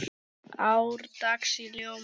árdags í ljóma